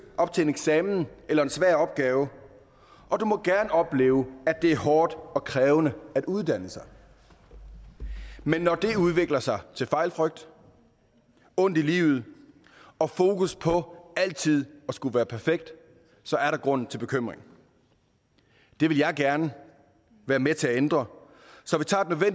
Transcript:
op til en eksamen eller en svær opgave og du må gerne opleve at det er hårdt og krævende at uddanne sig men når det udvikler sig til fejlfrygt ondt i livet og fokus på altid at skulle være perfekt er der grund til bekymring det vil jeg gerne være med til at ændre så vi tager